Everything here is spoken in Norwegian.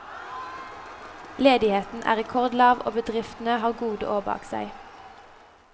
Ledigheten er rekordlav og bedriftene har gode år bak seg.